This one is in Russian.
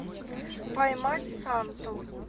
поймать санту